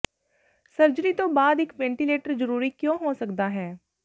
surgery ਤੋਂ ਬਾਅਦ ਇੱਕ ਵੈਂਟੀਲੇਟਰ ਜਰੂਰੀ ਕਿਉਂ ਹੋ ਸਕਦਾ ਹੈ